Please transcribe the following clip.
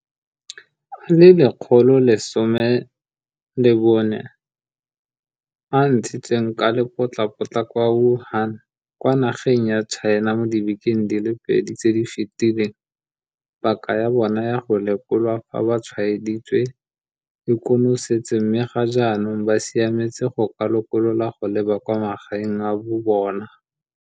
a le 114 a a ntshitsweng ka lepotlapotla kwa Wuhan kwa nageng ya China mo dibekeng di le pedi tse di fetileng, paka ya bona ya go lekolwa fa ba tshwaeditswe e konosetse mme ga jaanong ba siametse go ka lokololwa go leba kwa magaeng a bobona.